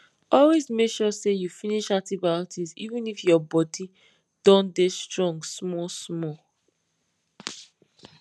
always make sure say you finish antibiotics even if your bodi don dey strong small small